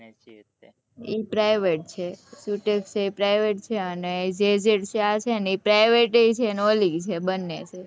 ઈ private છે sutech છે એ private છે અને ત્યાં છે ને એ private એ છે ને ઓલી બને હે